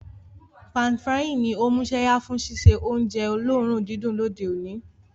Pan-frying ní o músẹ́yá fun síse ounje olóòrun didùn lóde oní